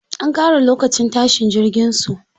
An ƙara lokacin tashin jirgin su.